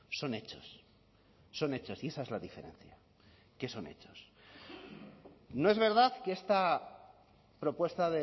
son hechos son hechos y esa es la diferencia que son hechos no es verdad que esta propuesta